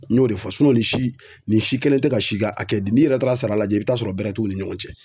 N y'o de fɔ nin si nin si kelen tɛ ka si ka hakɛ di. N'i yɛrɛ taara sara lajɛ i bi taa'a sɔrɔ bɛrɛ t'u ni ɲɔgɔn cɛ.